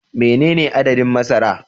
Menene adadin masara